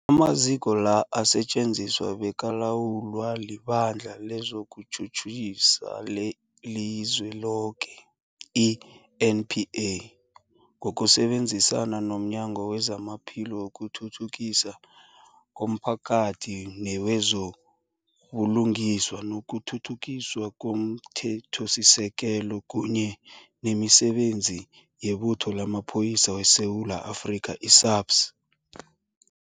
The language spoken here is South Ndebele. Amaziko la asetjenziswa bekalawulwa liBandla lezokuTjhutjhisa leliZweloke, i-NPA, ngokusebenzisana nomnyango wezamaPhilo, wokuthuthukiswa komphakathi newezo buLungiswa nokuThuthukiswa komThethosisekelo, kunye nemiSebenzi yeButho lamaPholisa weSewula Afrika, i-SAPS.